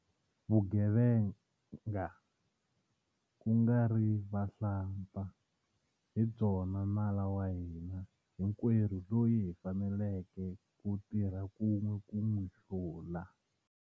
Vugevenga, ku nga ri vahlampfa, hi byona nala wa hina hinkwerhu loyi hi faneleke ku tirha kun'we ku n'wi hlula.